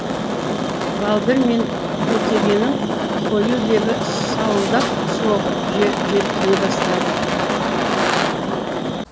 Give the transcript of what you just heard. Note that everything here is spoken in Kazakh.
балдыр мен бетегенің қою лебі сауылдап соғып желпіне бастады